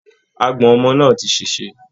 Àgbọ̀n ọmọ náà ti ṣèṣe